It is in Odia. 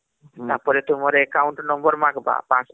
ତାପରେ ତୁମର Account Number ମାଗବା